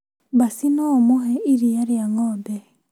Baci no ũmũhe iria rĩa ng'ombe